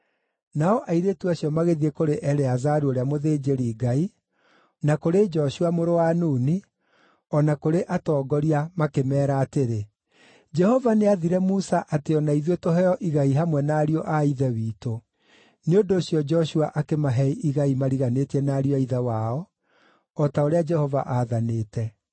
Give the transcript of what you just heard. Nao airĩtu acio magĩthiĩ kũrĩ Eleazaru ũrĩa mũthĩnjĩri-Ngai, na kũrĩ Joshua mũrũ wa Nuni, o na kũrĩ atongoria makĩmeera atĩrĩ, “Jehova nĩathire Musa atĩ o na ithuĩ tũheo igai hamwe na ariũ a ithe witũ.” Nĩ ũndũ ũcio Joshua akĩmahe igai mariganĩtie na ariũ a ithe wao o ta ũrĩa Jehova aathanĩte.